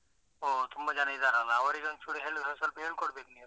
ಓಹೋ ತುಂಬಾ ಜನ ಇದ್ದಾರಲ್ಲ, ಅವರಿಗೊಂಚೂರು ಹೇಳಿದ್ರೆ ಸ್ವಲ್ಪ ಹೇಳಿ ಕೊಡ್ಬೇಕ್ ನೀವ್.